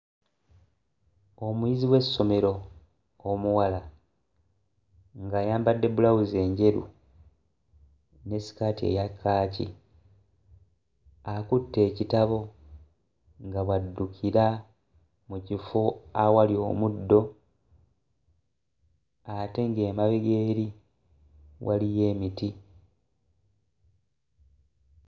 Omuyizi w'essomero omuwala ng'ayambadde bbulawuzi enjeru ne ssikaati eya kkaaki. Akutte ekitabo nga bw'addukira mu kifo awali omuddo ate ng'emabega eri waliyo emiti.